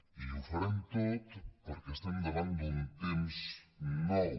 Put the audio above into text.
i ho farem tot perquè estem davant d’un temps nou